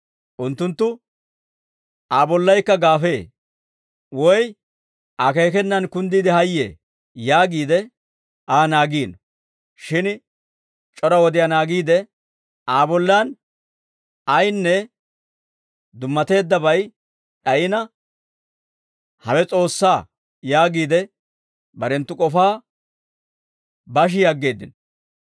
Unttunttu, «Aa bollaykka gaafee; woy akeekenaan kunddiide hayyee» yaagiide Aa naagiino; shin c'ora wodiyaa naagiide, Aa bollan ayinne dummateeddabay d'ayina, «Hawe s'oossaa» yaagiide barenttu k'ofaa bashi aggeeddino.